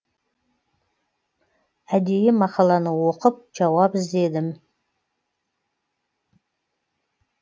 әдейі мақаланы оқып жауап іздедім